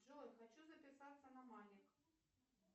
джой хочу записаться на маник